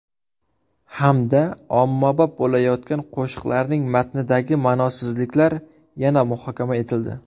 Hamda ommabop bo‘layotgan qo‘shiqlarning matnidagi ma’nosizliklar yana muhokama etildi.